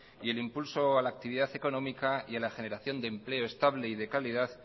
y el impulso a la actividad económica y a la generación de empleo estable y de calidad